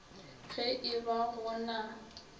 ge e ba go na